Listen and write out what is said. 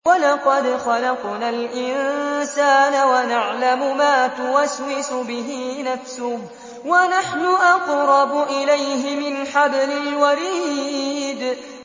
وَلَقَدْ خَلَقْنَا الْإِنسَانَ وَنَعْلَمُ مَا تُوَسْوِسُ بِهِ نَفْسُهُ ۖ وَنَحْنُ أَقْرَبُ إِلَيْهِ مِنْ حَبْلِ الْوَرِيدِ